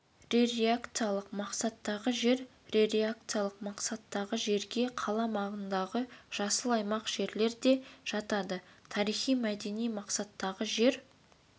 рекреациялық мақсаттағы жер рекреациялық мақсаттағы жерге қала маңындағы жасыл аймақ жерлер де жатады тарихи-мәдени мақсаттағы жер